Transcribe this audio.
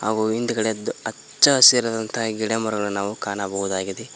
ಹಾಗು ಹಿಂದಗಡೆ ಹಚ್ಚ ಹಸಿರಾದಂತಹ ಗಿಡ ಮರಗಳು ನಾವು ಕಾಣಬಹುದಾಗಿದೆ.